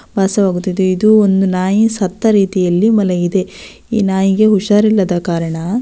ಭಾಸವಾಗುತ್ತಿದೆ ಇದು ಒಂದು ನಾಯಿ ಸತ್ತ ರೀತಿಯಲ್ಲಿ ಮಲಗಿದೆ ಈ ನಾಯಿಗೆ ಹುಷಾರಿಲ್ಲದ ಕಾರಣ--